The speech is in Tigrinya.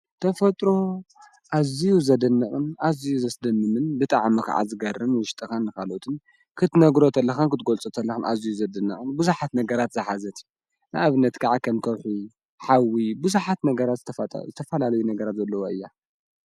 ተፈጥሮ ኣዙይ ዘድንቕ ኣዙ ዘስደንምን ብጣዓኸዓ ዝገርንምን ውሽጠኻን ንኻሎትን ክትነግሮ እተለኻን ክትጐልጾ ተለን ኣዙይ ዘድንቕን ብዙኃት ነገራት ዝኃዘት ንእብነት ከዓ ኸንተርሑ ኃዊ ብዙኃት ነገራት ዝተፋላለዩ ነገራት ዘለዎያ።